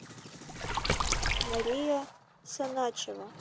мария саначева